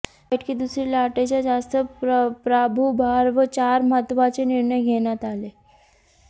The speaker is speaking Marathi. या बैठकीत दुसरी लाटेचा जास्त प्रादुर्भाव चार महत्त्वाचे निर्णय घेण्यात आले